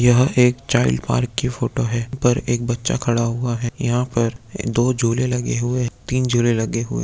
यह एक child park की फोटो है ऊपर एक बच्चा खड़ा हुआ है यहाँ पर दो झूले लगे हुए हैं तीन झूले लगे--